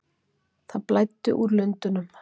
Það blæddi úr lundunum.